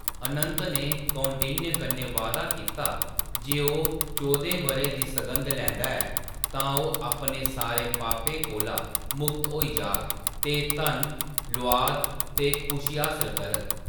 अनंत ने कौंडिन्य कन्नै वायदा कीता जे ओह् चौह्दें ब’रें दी सघंद लैंदा ऐ तां ओह् अपने सारे पापें कोला मुक्त होई जाग ते धन, लुआद ते खुशी हासल करग।